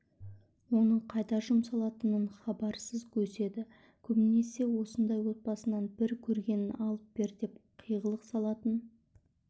оның қайда жұмсалатынынан хабарсыз өседі көбінесе осындай отбасынан бір көргенін алып бер деп қиғылық салатын